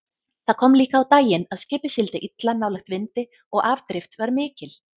Það kom líka á daginn að skipið sigldi illa nálægt vindi og afdrift var mikil.